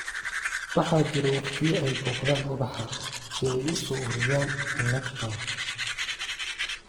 Waxaa jira waqtiyo ay booqdaan ubax si ay u soo ururiyaan nectar